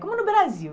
Como no Brasil.